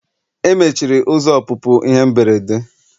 Emechiri ụzọ ọpụpụ ihe mberede.